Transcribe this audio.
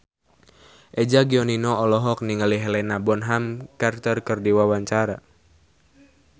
Eza Gionino olohok ningali Helena Bonham Carter keur diwawancara